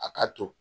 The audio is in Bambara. A ka to